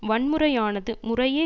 வன்முறையானது முறையே